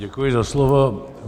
Děkuji za slovo.